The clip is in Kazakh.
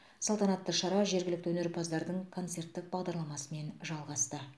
салтанатты шара жергілікті өнерпаздардың концерттік бағдарламасымен жалғасты